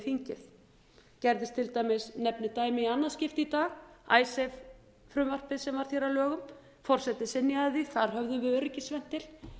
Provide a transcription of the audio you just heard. þingi gerðist til dæmis nefni dæmi í annað skipti í dag icesave frumvarpið sem varð hér að lögum forseti synjaði því þar höfðum við öryggisventil